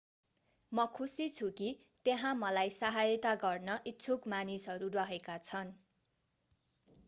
म खुशी छु कि त्यहाँ मलाई सहायता गर्न इच्छुक मानिसहरू रहेका छन्